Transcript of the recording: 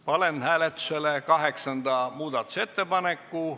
Panen hääletusele kaheksanda muudatusettepaneku.